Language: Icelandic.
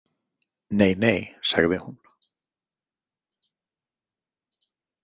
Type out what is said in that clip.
Nei nei, sagði hún.